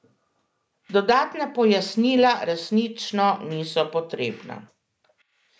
Dodatna pojasnila resnično niso potrebna.